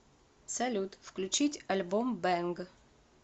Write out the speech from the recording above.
салют включить альбом бэнг